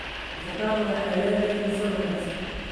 Avocados waxay leedahay dufan wanaagsan.